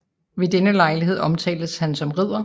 Ved den lejlighed omtales han som ridder